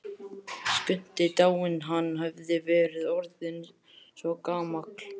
Skundi dáinn, hann hafði verið orðinn svo gamall.